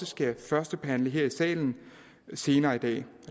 skal førstebehandle her i salen senere i dag